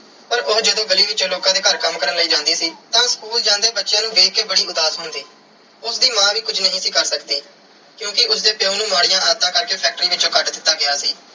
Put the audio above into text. ਪਰ ਉਹ ਜਦੋਂ ਗਲੀ ਵਿੱਚੋ ਲੋਕਾਂ ਦੇ ਘਰ ਕੰਮ ਕਰਨ ਲਈ ਜਾਂਦੀ ਸੀ, ਤਾਂ school ਜਾਂਦੇ ਬੱਚਿਆਂ ਨੂੰ ਦੇਖ ਕੇ ਬੜੀ ਉਦਾਸ ਹੁੰਦੀ। ਉਸ ਦੀ ਮਾਂ ਵੀ ਕੁਝ ਨਹੀਂ ਸੀ ਕਰ ਸਕਦੀ ਕਿਉਂਕਿ ਉਸ ਦੇ ਪਿਉ ਨੂੰ ਮਾੜੀਆਂ ਆਦਤਾਂ ਕਰਕੇ factory ਵਿੱਚੋਂ ਕੱਢ ਦਿੱਤਾ ਗਿਆ ਸੀ।